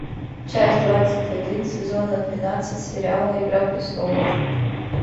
часть двадцать один сезона двенадцать сериала игра престолов